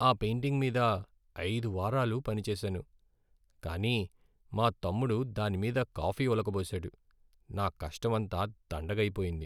ఆ పెయింటింగ్ మీద ఐదు వారాలు పనిచేసాను, కాని మా తమ్ముడు దాని మీద కాఫీ ఒలకబోసాడు. నా కష్టమంతా దండగ అయిపోయింది.